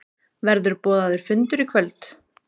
Verður boðaður fundur í kvöld?